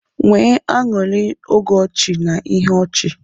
Nwee anụrị oge ọchị na ihe ọchị.